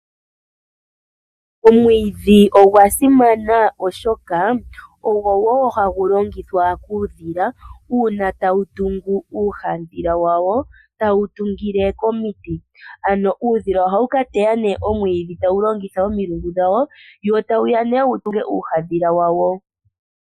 Omwiidhi ogwa simana oshoka, ogo wo hagu longithwa kuudhila uuna tawu tungu uuhandhila wawo, tawu tungile komiti. Ano uudhila ohawu ka teya nee omwiidhi tawu longitha omilungu dhawo wo tawu ya nee wu tunge uuhadhila wawo.